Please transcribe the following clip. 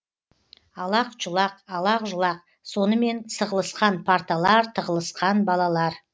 алақ жұлақ алақ жұлақ сонымен сығылысқан парталар тығылысқан балалар